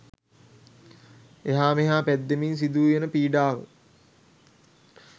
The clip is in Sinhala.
එහා මෙහා පැද්දීමෙන් සිදු වන පීඩාව